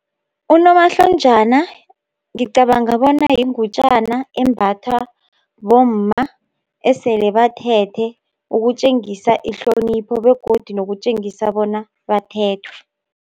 Unomahlonjana, ngicabanga bona yingutjana, embatha bomma esele bathethe ukutjengisa ihlonipho begodu nokutjengisa bona bathethwe.